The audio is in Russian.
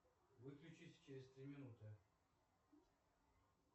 выключись через три минуты